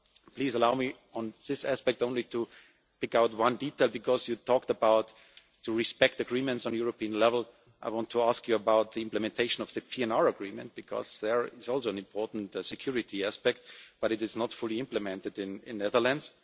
Please allow me on this aspect only to pick out one detail, because, Prime Minister, you talked about respecting agreements on a European level, so I want to ask you about the implementation of the PNR Agreement because this is also an important security aspect but it is not fully implemented in the Netherlands.